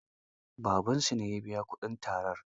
Babansu ne ya biya kuɗin tarar.